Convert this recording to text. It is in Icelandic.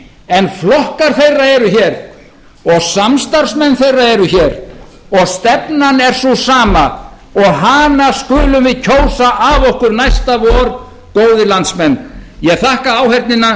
en flokkar þeirra eru hér og samstarfsmenn þeirra eru hér og stefnan er sú sama og hana skulum við kjósa af okkur næsta vor góðir landsmenn ég þakka áheyrnina